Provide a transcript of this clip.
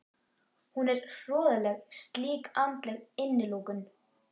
Hún er hroðaleg slík andleg innilokun.